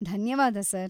ಧನ್ಯವಾದ ಸರ್.